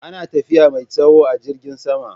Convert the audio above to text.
Ana tafiya mai tsawo a jirgin sama